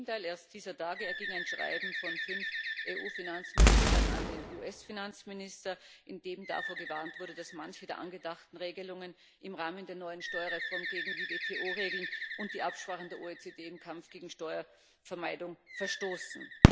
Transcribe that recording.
Ganz im Gegenteil Erst dieser Tage erging ein Schreiben von fünf EU Finanzministern an den US Finanzminister, in dem davor gewarnt wurde, dass manche der angedachten Regelungen im Rahmen der neuen Steuerreform gegen die WTO Regeln und die Absprachen der OECD im Kampf gegen Steuervermeidung verstoßen.